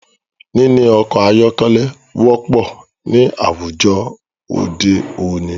Níní ọkọ̀ ayọ́kẹ́lẹ́ wọ́pọ̀ ní àwùjọ òde òní.